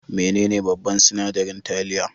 Menene babban sinadarin taliya?